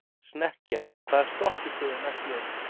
Snekkja, hvaða stoppistöð er næst mér?